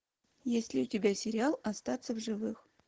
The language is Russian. есть ли у тебя сериал остаться в живых